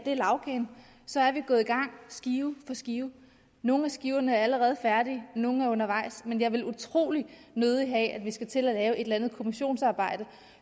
lagkagen gået i gang skive for skive nogle af skiverne er allerede færdige nogle er undervejs men jeg vil utrolig nødig have at vi skal til at lave et eller andet kommissionsarbejde